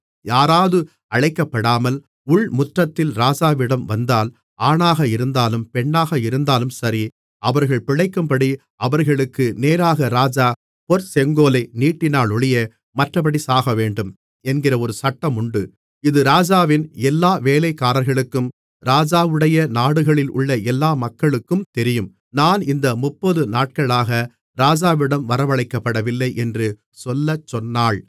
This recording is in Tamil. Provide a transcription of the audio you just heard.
யாராவது அழைக்கப்படாமல் உள்முற்றத்தில் ராஜாவிடம் வந்தால் ஆணாக இருந்தாலும் பெண்ணாக இருந்தாலும் சரி அவர்கள் பிழைக்கும்படி அவர்களுக்கு நேராக ராஜா பொற்செங்கோலை நீட்டினாலொழிய மற்றப்படி சாகவேண்டும் என்கிற ஒரு சட்டமுண்டு இது ராஜாவின் எல்லா வேலைக்காரர்களுக்கும் ராஜாவுடைய நாடுகளிலுள்ள எல்லா மக்களுக்கும் தெரியும் நான் இந்த முப்பது நாட்களாக ராஜாவிடம் வரவழைக்கப்படவில்லை என்று சொல்லச்சொன்னாள்